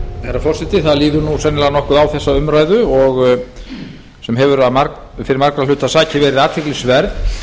herra forseti það líður sennilega nokkuð á þessa umræðu sem hefur fyrir margra hluta sakir verið athyglisverð þó ekki væri nema